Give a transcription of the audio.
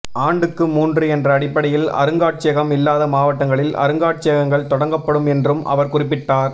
ஆண்டுக்கு மூன்று என்ற அடிப்படையில் அருங்காட்சியகம் இல்லாத மாவட்டங்களில் அருங்காட்சியகங்கள் தொடங்கப்படும் என்றும் அவர் குறிப்பிட்டார்